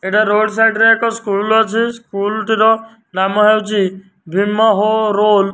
ଏଠାରେ road side ରେ ଏକ ସ୍କୁଲ୍ ଅଛି ସ୍କୁଲ୍ ଟିର ନାମ ହେଉଚି ଭୀମ ହୋ ରୋଲ୍ --